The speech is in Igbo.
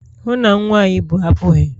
hụ na nwa a ị bu apughị!